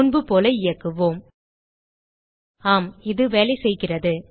முன்புபோல இயக்குவோம் ஆம இது வேலைசெய்கிறது